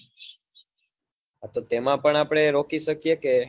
હા તો તેમાં પણ આપડે રોકી શકીએ કે